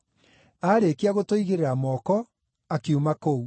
Aarĩkia gũtũigĩrĩra moko, akiuma kũu.